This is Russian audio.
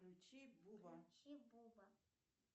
включи буба